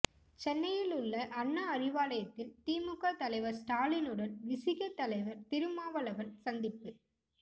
சென்னையில் உள்ள அண்ணா அறிவாலயத்தில் திமுக தலைவர் ஸ்டாலினுடன் விசிக தலைவர் திருமாவளவன் சந்திப்பு